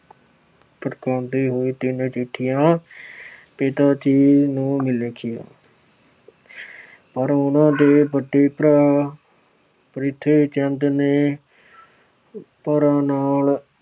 ਪ੍ਰਗਟਾਉਂਦੇ ਹੋਏ ਤਿੰਨ ਚਿੱਠੀਆਂ ਪਿਤਾ ਜੀ ਨੂੰ ਲਿਖੀਆਂ। ਪਰ ਉਹਨਾਂ ਦੇ ਵੱਡੇ ਭਰਾ ਪ੍ਰਿਥਵੀ ਚੰਦ ਨੇ ਭਰਾ ਨਾਲ